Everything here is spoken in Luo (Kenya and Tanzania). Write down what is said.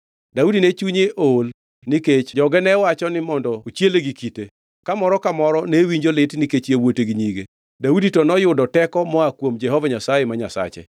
Daudi ne chunye ool nikech jogo ne wacho ni mondo ochiele gi kite; ka moro ka moro ne winjo lit nikech yawuote gi nyige. Daudi to noyudo teko moa kuom Jehova Nyasaye ma Nyasache.